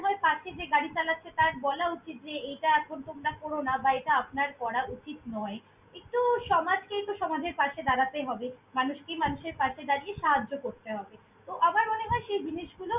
~হয় পাশের যে গাড়ি চালাচ্ছে, তার বলা উচিত যে এইটা এখন তোমরা কোরো না বা এইটা আপনার করা উচিত নয়। একটু সমাজকে একটু সমাজের পাশে দাঁড়াতে হবে, মানুষকে মানুষের পাশে দাঁড়িয়ে সাহায্য করতে হবে। তো আমার মনে হয় সেই জিনিসগুলো।